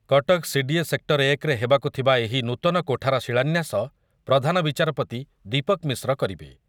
Cuttack CDA sector ଏକ ରେ ହେବାକୁ ଥିବା ଏହି ନୂତନ କୋଠାର ଶିଳାନ୍ୟାସ ପ୍ରଧାନ ବିଚାରପତି ଦୀପକ୍ ମିଶ୍ର କରିବେ ।